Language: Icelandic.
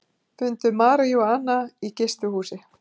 Fundu maríjúana í gistihúsi